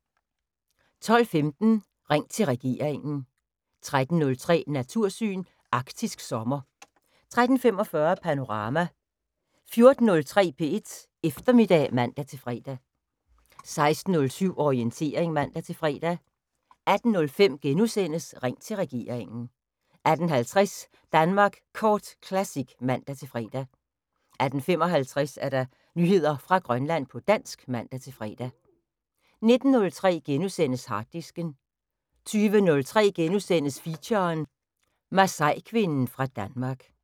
12:15: Ring til regeringen 13:03: Natursyn: Arktisk sommer 13:45: Panorama 14:03: P1 Eftermiddag (man-fre) 16:07: Orientering (man-fre) 18:05: Ring til regeringen * 18:50: Danmark Kort Classic (man-fre) 18:55: Nyheder fra Grønland på dansk (man-fre) 19:03: Harddisken * 20:03: Feature: Masaikvinden fra Danmark *